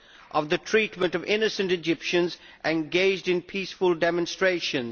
at the treatment of innocent Egyptians engaged in peaceful demonstrations.